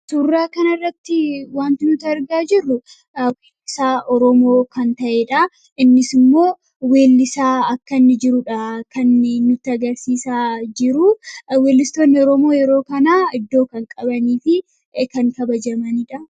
Suuraa kana irratti waanti nuti argaa jirru weellisaa Oromoo kan ta'edha. Innis immoo weellisaa akka jirudha. Weellistoonni Oromoo, yeroo ammaa iddoo kan qabanii fi kan kabajamanidha.